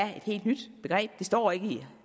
helt nyt begreb det står ikke i